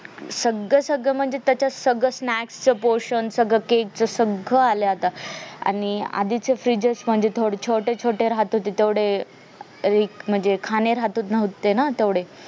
सगळ सगळ म्हणजे त्याच्यात सगळ snack च पोषण सगळ cake च सगळं आलय आताआणि आधीचे fridges मध्ये थोडे छोटे छोटे राहत होते तेवढे रिक म्हणजे खाणे राहत नव्हते ना तेवढे